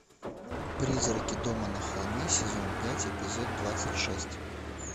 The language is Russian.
призраки дома на холме сезон пять эпизод двадцать шесть